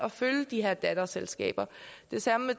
at følge de her datterselskaber det samme